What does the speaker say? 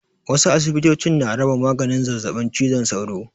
Wasu asibitocin na raba maganin zazzaɓin cizon sauro.